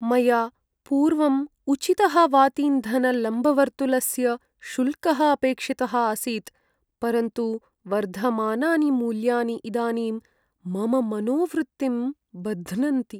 मया पूर्वम् उचितः वातीन्धनलम्बवर्तुलस्य शुल्कः अपेक्षितः आसीत् परन्तु वर्धमानानि मूल्यानि इदानीं मम मनोवृत्तिं बध्नन्ति।